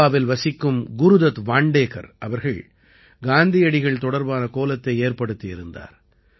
கோவாவில் வசிக்கும் குருதத் வாண்டேகர் அவர்கள் காந்தியடிகள் தொடர்பான கோலத்தை ஏற்படுத்தியிருந்தார்